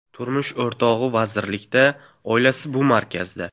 Turmush o‘rtog‘i vazirlikda, oilasi bu markazda.